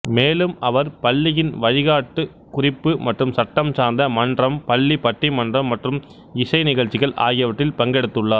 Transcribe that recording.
மேலும் அவர் பள்ளியின் வழிகாட்டி குறிப்பு மற்றும் சட்டம் சார்ந்த மன்றம் பள்ளி பட்டிமன்றம் மற்றும் இசைநிகழ்ச்சிகள் ஆகியவற்றில் பங்கெடுத்துள்ளார்